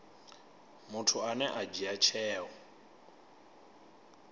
muthu ane a dzhia tsheo